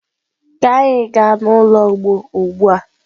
ka gaa n'ulo ugbo ugbua!